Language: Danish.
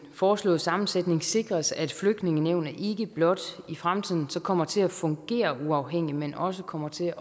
foreslåede sammensætning sikres at flygtningenævnet ikke blot i fremtiden kommer til at fungere uafhængigt men også kommer til